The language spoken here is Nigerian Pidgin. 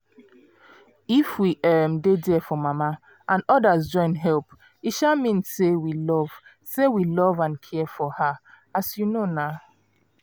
if we um dey there for mama and others join help e um mean say we love say we love and care for her um